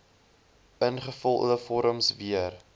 ingevulde vorms weer